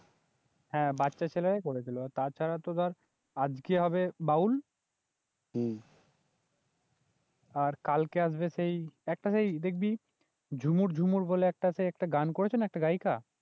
হ্যাঁ বাচ্চা ছেলেরা করেছিল তাছাড়া তো ধর আজকে হবে বাউল, আর কালকে আসবে সেই একটা সেই দেখবি ঝুমুর ঝুমুর বলে একটা সেই একটা গান করেছে না একটা গায়িকা?